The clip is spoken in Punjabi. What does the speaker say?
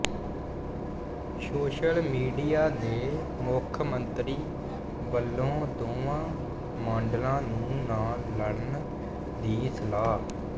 ਸੋਸ਼ਲ ਮੀਡੀਆ ਦੇ ਮੁੱਖ ਮੰਤਰੀ ਵਲੋਂ ਦੋਵਾਂ ਮਾਡਲਾਂ ਨੂੰ ਨਾ ਲੜਣ ਦੀ ਸਲਾਹ